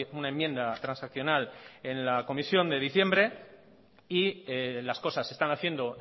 una enmienda transaccional en la comisión de diciembre y las cosas se están haciendo